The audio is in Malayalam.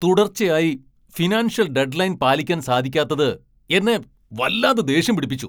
തുടർച്ചയായി ഫിനാൻഷ്യൽ ഡെഡ് ലൈൻ പാലിക്കാൻ സാധിക്കാത്തത് എന്നെ വല്ലാതെ ദേഷ്യം പിടിപ്പിച്ചു.